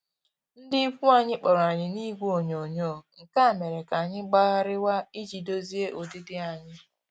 Ndị ikwu anyị kpọrọ anyị n'igwe onyoghonyoo, nke a mere ka anyị gbagharịwa iji dozie ụdịdị anyị